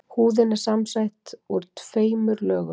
húðin er samsett úr tveimur lögum